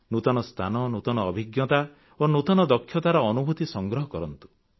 ନୂତନ ସ୍ଥାନ ନୂତନ ଅଭିଜ୍ଞତା ଓ ନୂତନ ଦକ୍ଷତାର ଅନୁଭୂତି ସଂଗ୍ରହ କରନ୍ତୁ